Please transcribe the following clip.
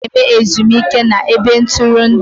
A na-eme ezumike na ebe ntụrụndụ